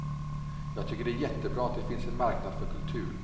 Jag tycker det är jättebra att det finns en marknad för kultur.